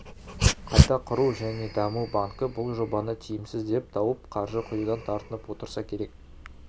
қайта құру және даму банкі бұл жобаны тиімсіз деп тауып қаржы құюдан тартынып отырса керек